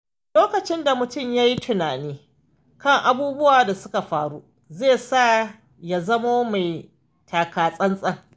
Lokacin da mutum ya yi tunani kan abubuwan da suka faru, zai sa ya zamo mai taka tsantsan.